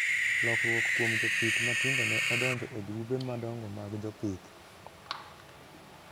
lokruok kuom jopith matindo ne odonjo e grube madongo mag jopith.